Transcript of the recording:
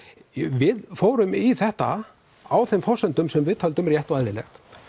við fórum í þetta á þeim forsendum sem við töldum rétt og eðlilegt